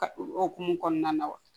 Ka o hokumu kɔnɔna na wa